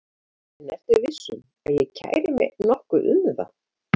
En ertu viss um að ég kæri mig nokkuð um það?